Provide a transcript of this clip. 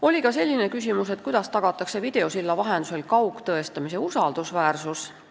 Oli ka selline küsimus, et kuidas tagatakse videosilla vahendusel toimuva kaugtõestamise usaldusväärsus.